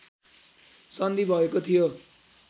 सन्धि भएको थियो